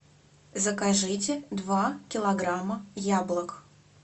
закажите два килограмма яблок